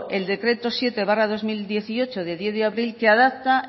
el decreto siete barra dos mil dieciocho de diez de abril que adapta